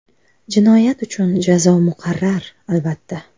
Jinoyat uchun jazo muqarrar, albatta.